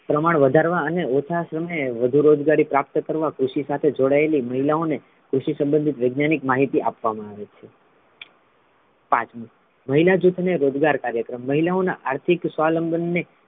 પ્રમાણ વધારવા અને ઓછા શ્રમે વધુ રોજગારી પ્રાપ્ત કરવા કૃષિ સાથે જોડાયેલી મહિલાઓ ને કૃષિ સંબંધિત વૈજ્ઞાનિક માહિતી આપવામા આવે છે પાંચમુ મહિલા જૂથ ને રોજગાર કાર્યક્રમ મહિલાઓના આર્થિક સ્વાવલંબન ને,